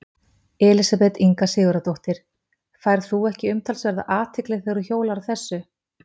Elísabet Inga Sigurðardóttir: Færð þú ekki umtalsverða athygli þegar þú hjólar á þessu?